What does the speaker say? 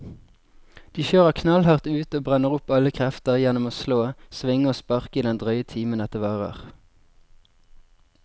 De kjører knallhardt ut og brenner opp alle krefter gjennom å slå, svinge og sparke i den drøye timen dette varer.